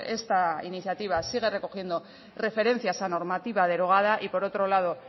esta iniciativa sigue recogiendo referencias a normativa derogada y por otro lado